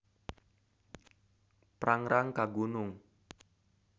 Prangrang ka Gunung.